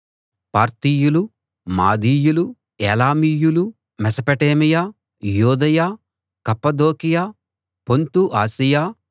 పార్తీయులూ మాదీయులూ ఏలామీయులూ మెసపటేమియా యూదయ కప్పదొకియ పొంతు ఆసియ